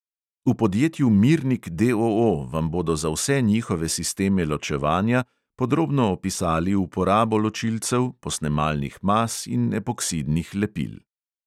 V podjetju mirnik DOO vam bodo za vse njihove sisteme ločevanja podrobno opisali uporabo ločilcev, posnemalnih mas in epoksidnih lepil.